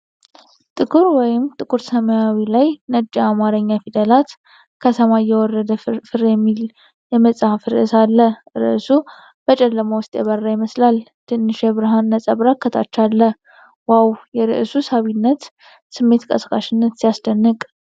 ጥቁር ወይም ጥቁር ሰማያዊ ላይ ነጭ የአማርኛ ፊደላት 'ከሰማይ የወረደ ፍርፍር' የሚል የመጽሐፍ ርዕስ አለ። ርዕሱ በጨለማ ውስጥ የበራ ይመስላል። ትንሽ የብርሃን ነጸብራቅ ከታች አለ። "ዋው! የርዕሱ አሳሳቢነት ስሜት ቀስቃሽነት ሲያስደንቅ!"